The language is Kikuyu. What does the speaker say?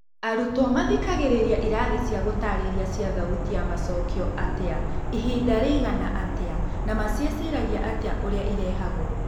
Arutwo mathikagĩrĩria irathi cia gũtarĩria cia thauti ya macokio atĩa, Ihinda rĩigana atĩa na maciĩciragia atĩa ũrĩa irehagwo ?